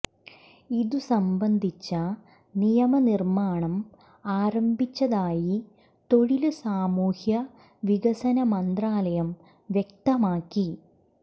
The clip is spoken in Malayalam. ഇത് സംബന്ധിച്ച നിയമനിര്മ്മാണം ആരംഭിച്ചതായി തൊഴില് സാമൂഹ്യ വികസന മന്ത്രാലയം വ്യക്തമാക്കി